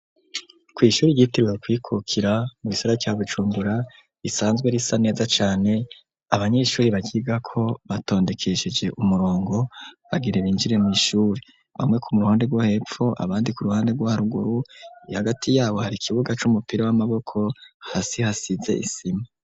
Kw'ishuri ryitiriwe Ukwikukira mu gisagara ca Bujumbura, risanzwe risa neza can abanyeshuri baryigako batondekesheje umurongo bagira binjire mw'iishuri. Bamwe ku ruhande rwo hepfo abandi ku ruhande rwo haruguru hagati yabo hari ikibuga c'umupira w'amaboko hasi hasize isima.